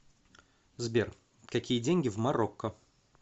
сбер какие деньги в марокко